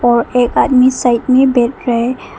और एक आदमी साइड में बैठ रहा है।